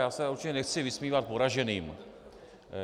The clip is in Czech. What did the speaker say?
Já se určitě nechci vysmívat poraženým.